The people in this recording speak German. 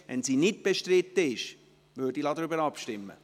Wenn sie nicht bestritten ist, lasse ich darüber abstimmen.